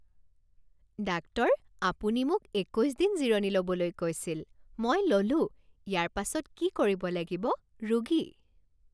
Doctor আপুনি মোক একৈছ দিন জিৰণি ল'বলৈ কৈছিল। মই ল'লো। ইয়াৰ পাছত কি কৰিব লাগিব? ৰোগী